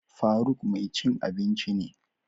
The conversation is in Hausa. Faruk mai cin abinci ne.